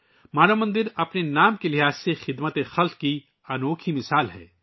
مانو مندر اپنے نام کے مطابق انسانی خدمت کی ایک شاندار مثال ہے